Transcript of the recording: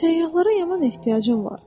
Səyyahlara yaman ehtiyacım var.